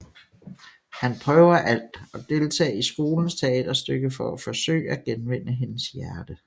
Han prøver alt og deltage i skolens teaterstykke for at forsøge at genvinde hendes hjerte